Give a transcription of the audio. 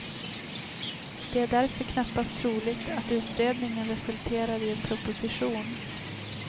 Det är därför knappast troligt att utredningen resulterar i en proposition.